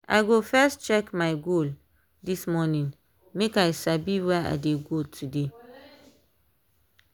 i go first check my goal this morning make i sabi where i dey go today.